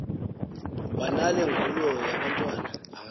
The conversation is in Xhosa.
wanale ngulo yabantwana